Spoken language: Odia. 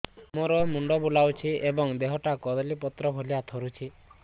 ମୋର ମୁଣ୍ଡ ବୁଲାଉଛି ଏବଂ ଦେହଟା କଦଳୀପତ୍ର ଭଳିଆ ଥରୁଛି